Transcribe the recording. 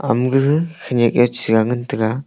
amaga gaga khanyek chea ngan taiga.